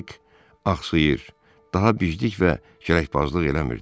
Payk axsıyır, daha biclik və kələkbazlıq eləmirdi.